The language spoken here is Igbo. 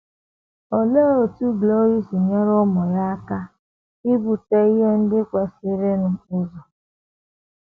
Olee otú Gloria si nyere ụmụ ya aka ibute ihe ndị kwesịrịnụ ụzọ?